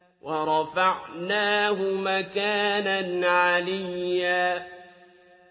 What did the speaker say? وَرَفَعْنَاهُ مَكَانًا عَلِيًّا